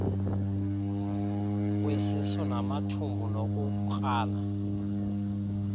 kwesisu namathumbu nokukrala